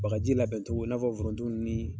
Bagaji labɛncogo i n'a fɔ foronto ninnu ni